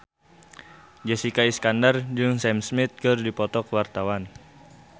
Jessica Iskandar jeung Sam Smith keur dipoto ku wartawan